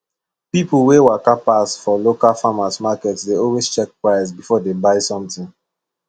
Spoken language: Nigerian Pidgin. people wey waka pass for local farmers market dey always check price before dem buy something